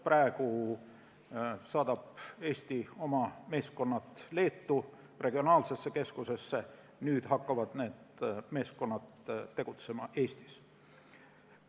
Praegu saadab Eesti oma meeskonnad Leetu regionaalsesse keskusse, kuid nüüd hakkavad need meeskonnad tegutsema Eestis.